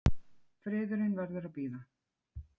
Friðurinn verður að bíða.